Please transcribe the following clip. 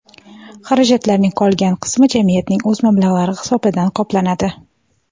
Xarajatlarning qolgan qismi jamiyatning o‘z mablag‘lari hisobidan qoplanadi.